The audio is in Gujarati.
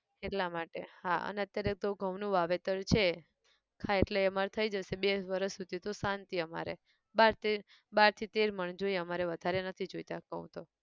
એટલા માટે, હા અન અત્યારે તો ઘઉં નું વાવેતર છે, હા એટલે એ અમાર થઇ જશે, બે એક વરસ સુધી તો શાંતિ અમારે, બાર તેર, બાર થી તેર મણ જોઈએ અમારે વધારે નથી જોઈતા ઘઉં તો.